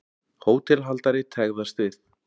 Hótelhaldari tregðast við.